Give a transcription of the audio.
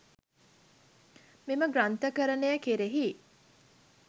මෙම ග්‍රන්ථකරණය කෙරෙහි